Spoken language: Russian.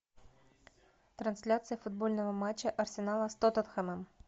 трансляция футбольного матча арсенала с тоттенхэмом